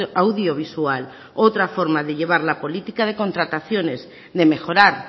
audiovisual otra forma de llevar la política de contrataciones de mejorar